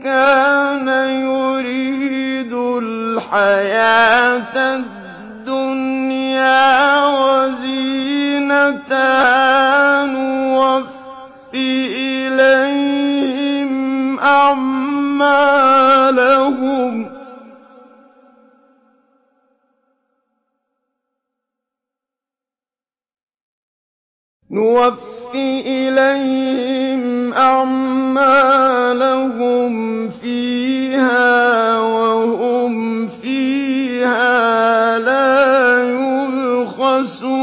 كَانَ يُرِيدُ الْحَيَاةَ الدُّنْيَا وَزِينَتَهَا نُوَفِّ إِلَيْهِمْ أَعْمَالَهُمْ فِيهَا وَهُمْ فِيهَا لَا يُبْخَسُونَ